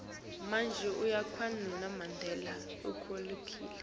kulwela kwamandela inkhululeko